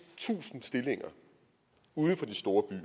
tusind stillinger uden for de store byer